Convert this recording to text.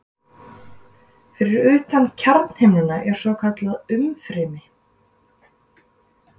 Fyrir utan kjarnahimnuna er svokallað umfrymi.